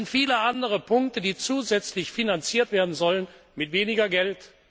Es sind viele andere Punkte, die zusätzlich finanziert werden sollen mit weniger Geld!